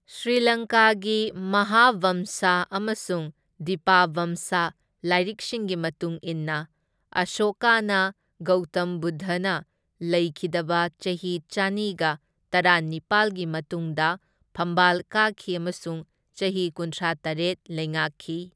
ꯁ꯭ꯔꯤꯂꯪꯀꯥꯒꯤ ꯃꯍꯥꯕꯝꯁꯥ ꯑꯃꯁꯨꯡ ꯗꯤꯄꯥꯕꯝꯁꯥ ꯂꯥꯏꯔꯤꯛꯁꯤꯡꯒꯤ ꯃꯇꯨꯡ ꯏꯟꯅ, ꯑꯁꯣꯀꯥꯅ ꯒꯧꯇꯝ ꯕꯨꯗꯙꯅ ꯂꯩꯈꯤꯗꯕ ꯆꯍꯤ ꯆꯅꯤꯒ ꯇꯔꯥꯅꯤꯄꯥꯜꯒꯤ ꯃꯇꯨꯡꯗ ꯐꯝꯕꯥꯜ ꯀꯥꯈꯤ ꯑꯃꯁꯨꯡ ꯆꯍꯤ ꯀꯨꯟꯊ꯭ꯔꯥꯇꯔꯦꯠ ꯂꯩꯉꯥꯛꯈꯤ꯫